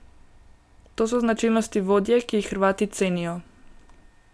To so značilnosti vodje, ki jih Hrvati cenijo.